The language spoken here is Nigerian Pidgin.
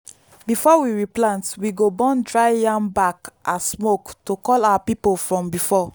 before we replant we go burn dry yam back as smoke to call our people from before.